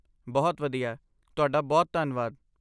ਬਹੁਤ ਵਧੀਆ! ਤੁਹਾਡਾ ਬਹੁਤ ਧੰਨਵਾਦ।